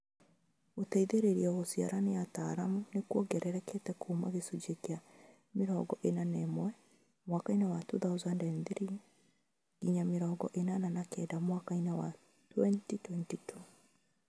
Gũteithĩrĩrio gũciara nĩ ataaramu nĩkuongererekete kuuma gĩcunjĩ kĩa mĩrongo ĩna na ĩmwe mwaka wa 2003 nginya mĩrongo ĩnana na kenda mwaka 2022